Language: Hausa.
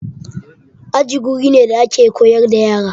Aji wuri ne da ake koyar da yara.